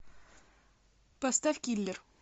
поставь киллер